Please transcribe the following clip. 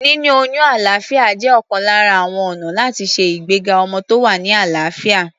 Níní oyún alàáfíà jẹ́ ọ̀kan lára àwọn ọ̀nà láti ṣe ìgbéga ọmọ tó wà ní àlàáfíà.